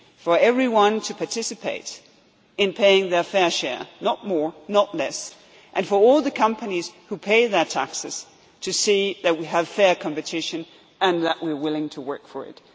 taxation, where everyone participates in paying their fair share, not more and not less, and where all the companies who pay their taxes to see that we have fair competition and that we are willing to work